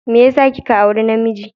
Me yasa kika auri namiji?